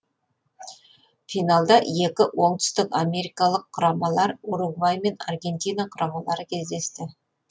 финалда екі оңтүстік америкалық құрамалар уругвай мен аргентина құрамалары кездесті